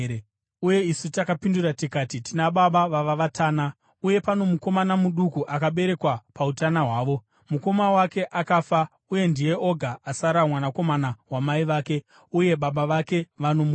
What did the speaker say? Uye isu takapindura tikati, ‘Tina baba vava vatana, uye pano mukomana muduku akaberekwa pautana hwavo. Mukoma wake akafa, uye ndiye oga asara mwanakomana wamai vake, uye baba vake vanomuda.’